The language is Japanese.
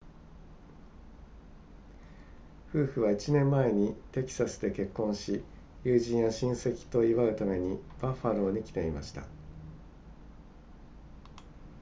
夫婦は1年前にテキサスで結婚し友人や親戚と祝うためにバッファローに来ていました